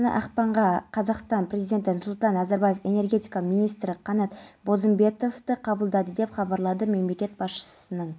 жоғарғы сот жамалиевтің рақымшылыққа ілікпейтінін мәлімдеді айтуларынша атышулы бизнесменнің ісіне қатысты сараптама қайта жасалған екен жоғарғы сот жамалиевтың жазасы неліктен жеңілдетілгенін